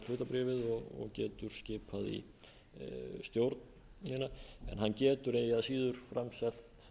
hlutabréfið og getur skipað í stjórnina en hann getur eigi að síður framselt hlutabréfin til bankasýslunnar verði hún sett